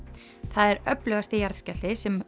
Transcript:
það er öflugasti jarðskjálfti sem